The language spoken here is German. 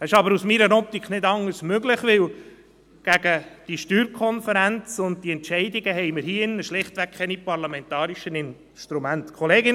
Dies ist aber aus meiner Optik nicht anders möglich, weil wir hier drin gegen die SSK und die Entscheide schlichtweg keine parlamentarischen Instrumente haben.